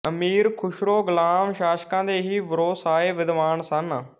ਅਮੀਰ ਖੁਸਰੋ ਗੁਲਾਮ ਸ਼ਾਸ਼ਕਾਂ ਦੇ ਹੀ ਵਰੋਸਾਏ ਵਿਦਵਾਨ ਸਨ